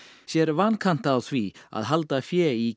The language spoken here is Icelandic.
sér vankanta á því að halda fé í